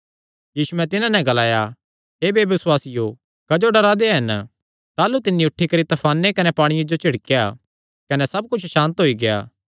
यीशुयैं तिन्हां नैं ग्लाया हे बेबसुआसियो क्जो डरा दे हन ताह़लू तिन्नी उठी करी तफाने कने पांणिये जो झिड़केया कने सब कुच्छ सांत होई गेआ